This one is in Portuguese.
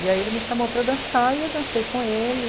E aí ele me chamou para dançar, e eu dancei com ele.